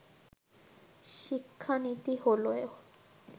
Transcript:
শিক্ষানীতি হলে